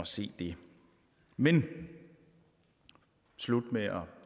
se det men slut med at